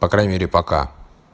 по крайней мере пока